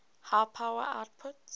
high power outputs